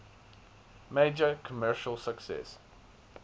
major commercial success